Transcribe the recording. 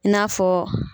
I n'a fɔ